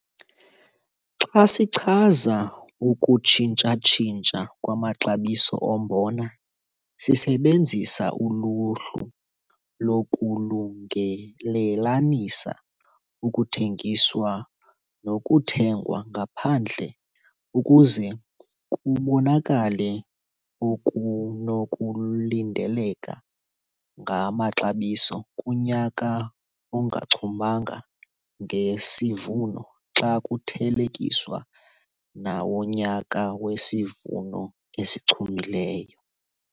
Xa sichaza ukutshintsha-tshintsha kwamaxabiso ombona, sisebenzisa uluhlu lokulungelelanisa okuthengiswa nokuthengwa ngaphandle ukuze kubonakale okunokulindeleka ngamaxabiso kunyaka ongachumanga ngesivuno xa kuthelekiswa nawonyaka wesivuno esichumileyo.